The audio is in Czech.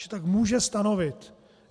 Že tak může stanovit.